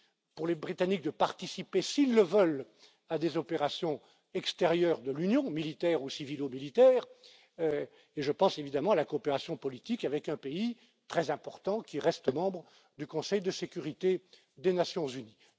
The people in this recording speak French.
pour les Britanniques de participer, s'ils le veulent, à des opérations extérieures de l'Union, militaires ou civilo militaires, et je pense évidemment à la coopération politique avec un pays très important qui reste membre du Conseil de sécurité des Nations unies.